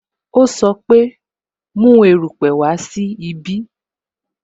O sọ pe "Mu erupe wá sí ibí "